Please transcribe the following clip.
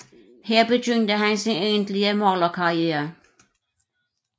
Her begyndte han sin egentlige malerkarriere